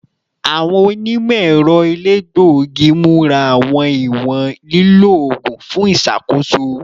Awọn onimọ-ẹrọ elegbogi mura awọn iwọn lilo oogun fun iṣakoso